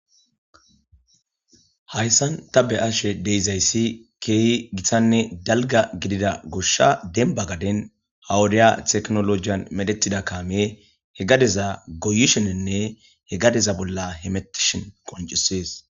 Hayssan ta be ashe deizayssi keehi githanne dalga gidida goshsha denba gaden hawudiya teknolojiyan medetida kaame he gadeza goyisheninne he gadeza bolla hemetishen qoncisees.